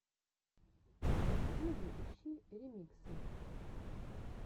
в ютьюбе ищи ремиксы